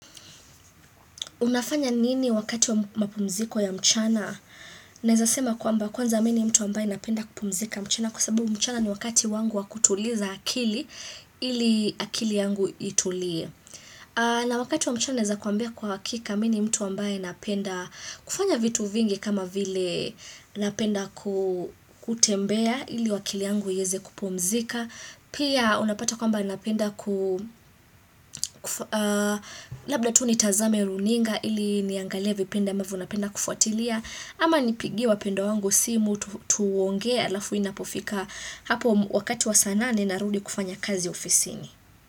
Unafanya nini wakati wa mapumziko ya mchana? Naweza sema kwamba kwanza mimi ni mtu ambaye napenda kupumzika mchana kwa sababu mchana ni wakati wangu wa kutuliza akili ili akili yangu itulie. Na wakati wa mchana naweza kuambia kwa hakika mimi ni mtu ambaye napenda kufanya vitu vingi kama vile napenda kutembea ili akili yangu iweze kupumzika. Pia unapata kwamba napenda. Labda tu nitazame runinga ili niangalia vipindi ambavyo napenda kufuatilia Ama nipigie wapendwa wangu simu tuongea alafu inapofika Hapo wakati wa saa nane ninarudi kufanya kazi ofisini.